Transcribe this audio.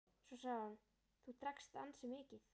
Svo sagði hún:-Þú drakkst ansi mikið.